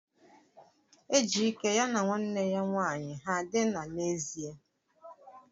Ejike ya na nwanne ya nwanyi ha dina n'ezie?